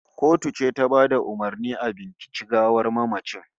The autopsy was ordered by the court